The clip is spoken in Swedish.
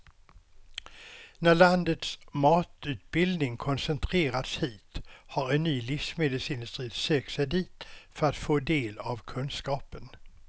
När landets matutbildning koncentrerats hit har en ny livsmedelsindustri sökt sig dit för att få del av kunskapen.